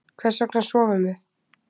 hvers vegna sofum við